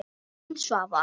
Þín Svava.